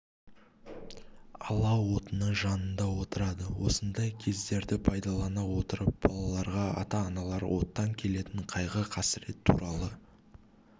алау отының жанында отырады осындай кездерді пайдалана отырып балаларға ата-аналар оттан келетін қайғы қасірет туралы